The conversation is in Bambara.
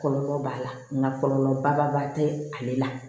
Kɔlɔlɔ b'a la nka kɔlɔlɔ ba tɛ ale la